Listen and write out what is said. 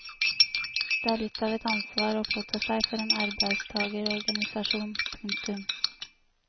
Det er litt av et ansvar å påta seg for en arbeidstagerorganisasjon. punktum